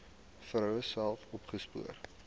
vroue self opgespoor